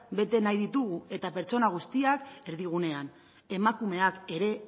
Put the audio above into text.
bete nahi ditugu eta pertsona guztiak erdigunean emakumeok ere